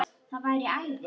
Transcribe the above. Það væri æði